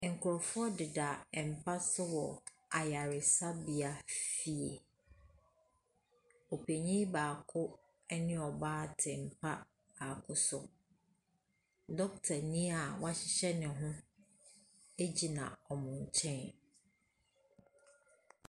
Nkrofo deda mpa so wɔ ayaresabea fie. Opanyin baako ɛne ɔbaa te mpa baako so. Dokita nii a w'ahyehyɛ ne ho agyina n'enkyɛn.